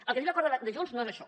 el que diu l’acord de junts no és això